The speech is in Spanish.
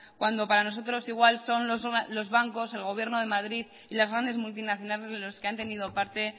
cuando para nosotros igual son los bancos el gobierno de madrid y las grandes multinacionales los que han tenido parte